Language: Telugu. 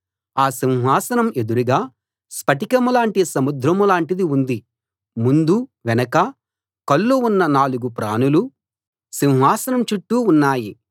ఆ సింహాసనం ఎదురుగా స్ఫటికంలాటి సముద్రంలాటిది ఉంది ముందూ వెనకా కళ్ళు ఉన్న నాలుగు ప్రాణులు సింహాసనం చుట్టూ ఉన్నాయి